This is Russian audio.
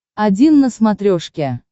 один на смотрешке